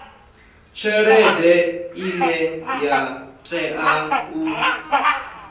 tshelede ine ya tea u